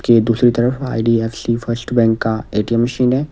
के दूसरी तरफ आई_डी_एफ_सी फर्स्ट बैंक का ए_टी_एम मशीन है।